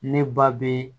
Ne ba bɛ